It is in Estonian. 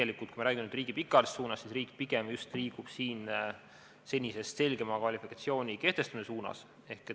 Kui me räägime riigi pikaajalisest suunast, siis riik pigem liigub senisest selgema kvalifikatsiooni kehtestamise suunas.